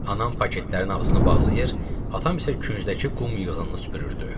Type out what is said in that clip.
Anam paketlərin ağzını bağlayır, atam isə küncdəki qum yığınını süpürürdü.